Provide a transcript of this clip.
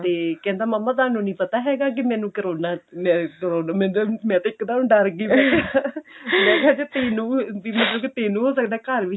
ਤੇ ਕਹਿੰਦਾ ਮੰਮਾ ਤੁਹਾਨੂੰ ਨਹੀਂ ਪਤਾ ਹੈਗਾ ਕੀ ਮੈਨੂੰ ਕਰੋਨਾ ਮੈਂ ਮੈਨੂੰ ਮੈਂ ਤੇ ਇੱਕ ਦਮ ਡਰ ਗਈ ਮੈਂ ਕਿਹਾ ਜੇ ਤੈਨੂੰ ਵੀ ਮੈਂ ਕਿਹਾ ਮਤਲਬ ਕੇ ਤੈਨੂੰ ਹੋ ਸਕਦਾ ਘਰ ਚ ਵੀ